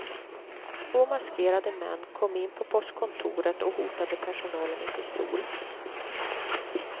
Två maskerade män kom in på postkontoret och hotade personalen med pistol.